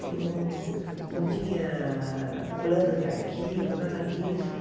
Fiz um... Não tinha plano de arquivo, nada disso.